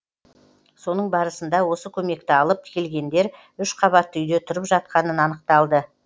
соның барысында осы көмекті алып келгендер үш қабатты үйде тұрып жатқаны анықталды